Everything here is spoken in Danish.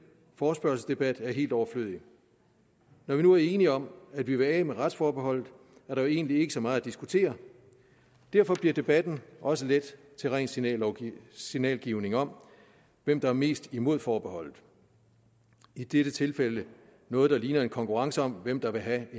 forespørgselsdebat er helt overflødig når vi nu er enige om at vi vil af med retsforbeholdet er der jo egentlig ikke så meget at diskutere derfor bliver debatten også let til ren signalgivning signalgivning om hvem der er mest imod forbeholdet i dette tilfælde noget der ligner en konkurrence om hvem der vil have